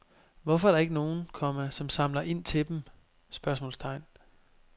Hvorfor er der ikke nogen, komma som samler ind til dem? spørgsmålstegn